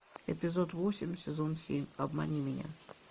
эпизод восемь сезон семь обмани меня